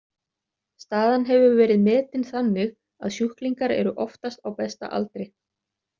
Staðan hefur verið metin þannig að sjúklingar eru oftast á besta aldri.